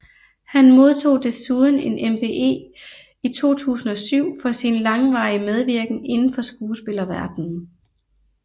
Han modtog desuden en MBE i 2007 for sin langvarige medvirken indenfor skuespillerverdenen